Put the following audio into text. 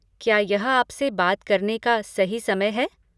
क्या यह आपसे बात करने का सही समय है?